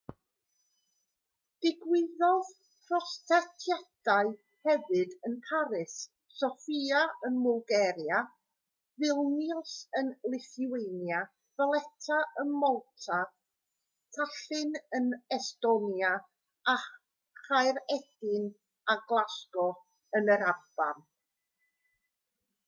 digwyddodd protestiadau hefyd yn paris sofia ym mwlgaria vilnius yn lithwania valetta ym malta tallinn yn estonia a chaeredin a glasgow yn yr alban